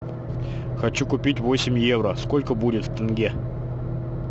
хочу купить восемь евро сколько будет в тенге